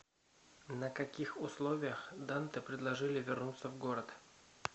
на каких условиях данте предложили вернуться в город